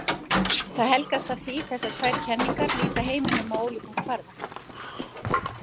Það helgast af því að þessar tvær kenningar lýsa heiminum á ólíkum kvarða.